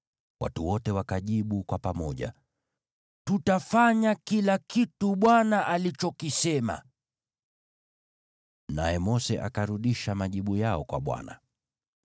Watu wote wakajibu kwa pamoja, “Tutafanya kila kitu Bwana alichokisema.” Naye Mose akarudisha majibu yao kwa Bwana .